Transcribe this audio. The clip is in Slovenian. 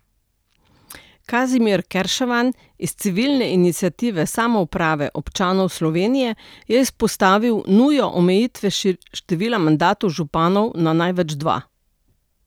Kazimir Kerševan iz civilne iniciative samouprave občanov Slovenije je izpostavil nujo omejitve števila mandatov županov na največ dva.